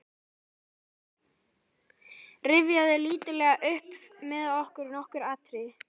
Rifjaðu lítillega upp með mér nokkur atriði.